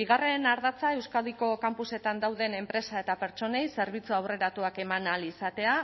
bigarren ardatza euskadiko kanpusetan dauden enpresa eta pertsonei zerbitzu aurreratuak eman ahal izatea